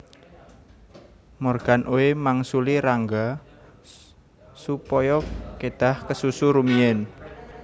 Morgan Oey mangsuli Rangga supaya kedhah kesusu rumiyin